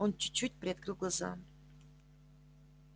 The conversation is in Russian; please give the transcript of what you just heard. он чуть-чуть приоткрыл глаза